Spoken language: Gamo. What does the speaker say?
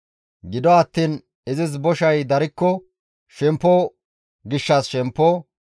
Gido attiin izis boshay darikko shemppo gishshas shemppo,